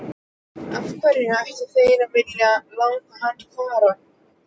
Af hverju ættu þeir að vilja láta hann fara?